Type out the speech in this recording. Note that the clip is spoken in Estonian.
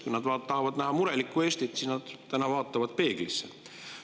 Kui nad tahavad näha murelikku Eestit, siis nad vaatavad täna peeglisse.